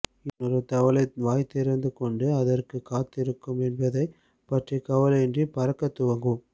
இன்னொரு தவளை வாய்திறந்து கொண்டு அதற்கும் காத்திருக்கும் என்பதை பற்றிய கவலையின்றி பறக்க துவங்கும்